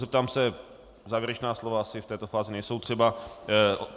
Zeptám se - závěrečná slova asi v této fázi nejsou třeba.